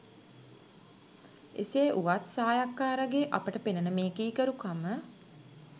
එසේ වුවත් සායක්කාරගේ අපට පෙනෙනෙ මේ කීකරුකම